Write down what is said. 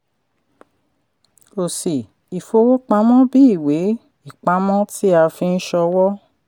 òsì: ìfowópamọ́ bí ìwé-ìpamọ́ tí a fi nṣòwò.